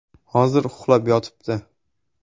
Hozir uxlab yotibdi’.